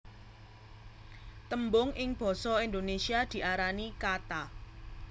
Tembung ing basa Indonésia diarani kata